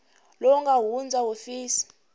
lowu nga hundza wa hofisi